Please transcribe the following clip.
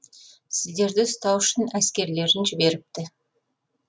сіздерді ұстау үшін әскерлерін жіберіпті